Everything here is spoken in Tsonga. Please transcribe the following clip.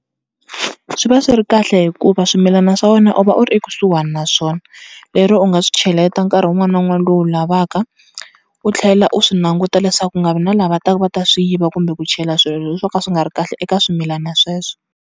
Swi va swi ri kahle hikuva swimilana swa wena u va u ri ekusuhana na swona, lero u nga swi cheleta nkarhi wun'wana na wun'wana lowu u wu lavaka. U tlhela u swi languta leswaku ku nga vi na lava taka va ta swi yiva kumbe ku chela swilo swo ka swi nga ri kahle eka swimilana sweswo.